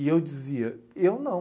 E eu dizia, eu não.